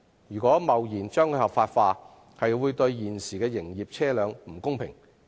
若貿然把共乘模式合法化，會對現時的營業車輛不公平。